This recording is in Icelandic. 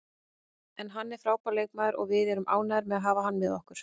En hann er frábær leikmaður og við erum ánægðir með að hafa hann með okkur.